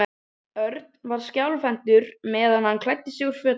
Örn var skjálfhentur meðan hann klæddi sig úr fötunum.